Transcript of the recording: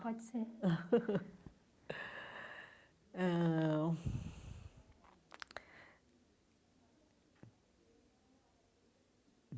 Pode ser ãh.